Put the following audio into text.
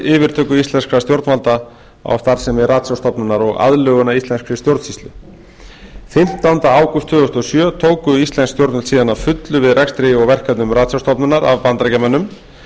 yfirtöku íslenskra stjórnvalda á starfsemi ratsjárstofnunar og aðlögun að íslenskri stjórnsýslu fimmtánda ágúst tvö þúsund og sjö tóku íslensk stjórnvöld síðan að fullu við rekstri og verkefnum ratsjárstofnunar af bandaríkjamönnum